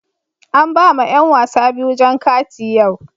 An ba ma yan wasa biyu jan kati yau.